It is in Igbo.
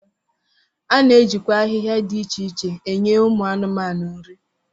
A na-ejikwa ahịhịa dị iche iche enye ụmụ anụmanụ nri